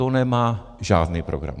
To nemá žádný program.